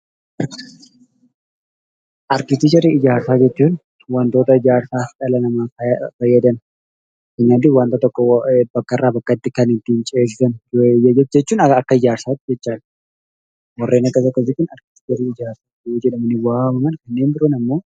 Arkiteekcharii ijaarsaa jechuun wantoota ijaarsaa dhala namaaf fayyadan fakkeenyaatiif waanta tokko bakka irraa bakkatti kan ittiin ceesisan jechuun akka ijaarsaatti jechuudha. Warreen akkas akkasii kun arkiteekcharii jedhamanii yoo waamaman, kanneen biroon ammoo...